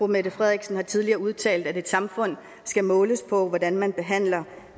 mette frederiksen har tidligere udtalt at et samfund skal måles på hvordan man behandler